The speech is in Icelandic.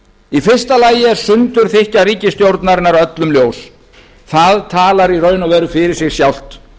í fyrsta lagi er sundurþykkja ríkisstjórnarinnar öllum ljós það talar í raun og veru fyrir sig sjálft